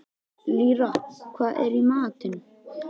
Lýra, hvað er í matinn?